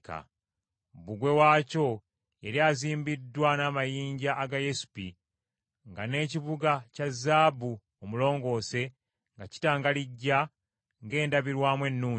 Bbugwe waakyo yali azimbiddwa n’amayinja agayesipi nga n’ekibuga kya zaabu omulongoose nga kitangalijja ng’endabirwamu ennungi.